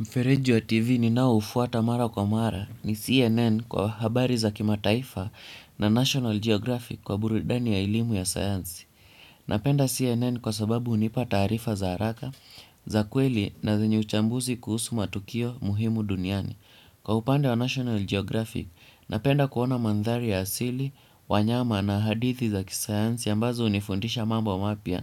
Mfereji wa TV ni nao ufuata mara kwa mara ni CNN kwa habari za kima taifa na National Geographic kwa burudani ya elimu ya sayansi. Napenda CNN kwa sababu hunipa taarifa za haraka za kweli na zenye uchambuzi kuhusu matukio muhimu duniani. Kwa upande wa National Geographic, napenda kuona mandhari ya asili, wanyama na hadithi za kisayansi ambazo hunifundisha mambo wa mapya